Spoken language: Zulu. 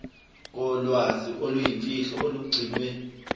kolwazi oluyimfihlo olugcinwe